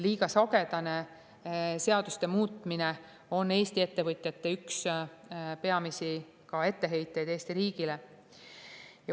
Liiga sagedane seaduste muutmine on Eesti ettevõtjate peamisi etteheiteid Eesti riigile.